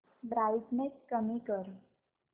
brightness कमी कर